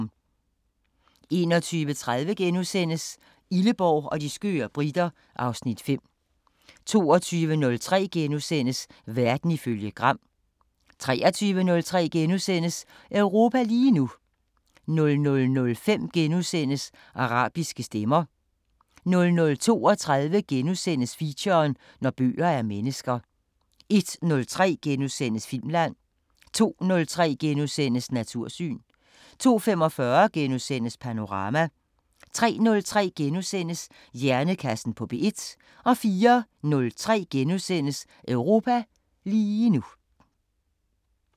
21:30: Illeborg og de skøre briter (Afs. 5)* 22:03: Verden ifølge Gram * 23:03: Europa lige nu * 00:05: Arabiske Stemmer * 00:32: Feature: Når bøger er mennesker * 01:03: Filmland * 02:03: Natursyn * 02:45: Panorama * 03:03: Hjernekassen på P1 * 04:03: Europa lige nu *